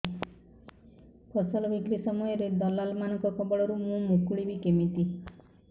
ଫସଲ ବିକ୍ରୀ ସମୟରେ ଦଲାଲ୍ ମାନଙ୍କ କବଳରୁ ମୁଁ ମୁକୁଳିଵି କେମିତି